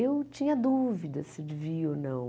Eu tinha dúvida se devia ou não.